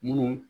Mun